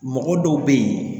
Mɔgɔ dɔw bɛ yen